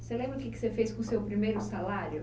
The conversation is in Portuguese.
Você lembra o que que você fez com o seu primeiro salário?